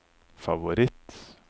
favoritt